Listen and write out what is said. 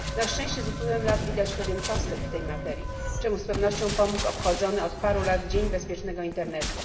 Na szczęście z upływem lat widać pewien postęp w tej materii, czemu z pewnością pomógł obchodzony od paru lat Dzień Bezpiecznego Internetu.